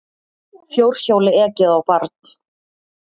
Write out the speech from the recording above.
Fjórhjóli ekið á barn